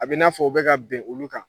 A bɛ n'a fɔ u bɛ ka ka bin olu kan